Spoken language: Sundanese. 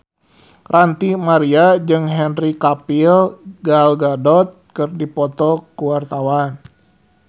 Ranty Maria jeung Henry Cavill Gal Gadot keur dipoto ku wartawan